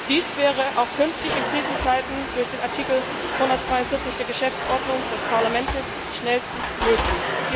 Dies wäre auch künftig in Krisenzeiten durch den Artikel 142 der Geschäftsordnung des Parlaments schnellstens möglich.